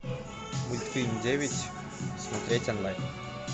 мультфильм девять смотреть онлайн